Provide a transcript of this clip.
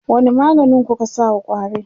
wani maganin kuka sa wa ƙwarin?